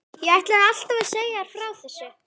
Ég ætlaði alltaf að segja þér frá þessu.